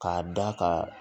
K'a da ka